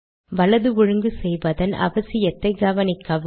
வலது ஒழுங்கு செய்வதன் அவசியத்தை கவனிக்கவும்